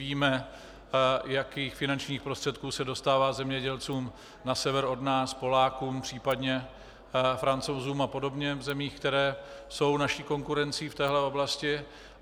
Víme, jakých finančních prostředků se dostává zemědělcům na sever od nás, Polákům, případně Francouzům a podobně v zemích, které jsou naší konkurencí v téhle oblasti.